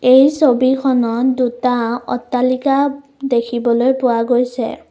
এই ছবিখনত দুটা অট্টালিকা দেখিবলৈ পোৱা গৈছে।